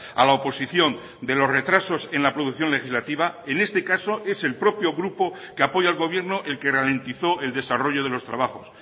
a la oposición de los retrasos en la producción legislativa en este caso es el propio grupo que apoya al gobierno el que ralentizó el desarrollo de los trabajos